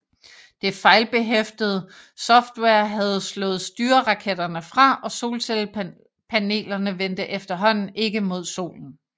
Det fejlbehæftede software havde slået styreraketterne fra og solcellepanelerne vendte efterhånden ikke mod Solen